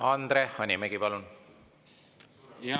Andre Hanimägi, palun!